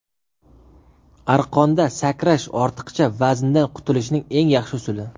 Arqonda sakrash ortiqcha vazndan qutulishning eng yaxshi usuli.